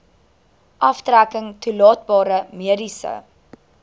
aftrekking toelaatbare mediese